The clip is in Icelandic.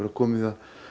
komið